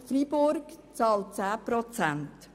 Freiburg bezahlt 10 Prozent.